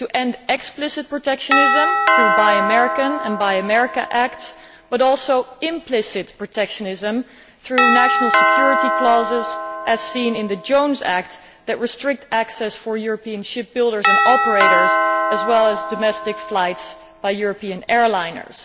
to end explicit protectionism through the Buy American' and Buy America' Acts, as well as implicit protectionism through national security clauses, as seen in the Jones Act, which restricts access for European ship builders and operators, as well as domestic flights by European airliners.